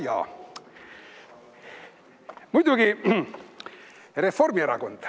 Jajaa, muidugi Reformierakond.